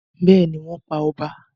Bẹ́ẹ̀ni, wọ́n pa ọba.